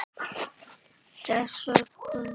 Þessa sögu.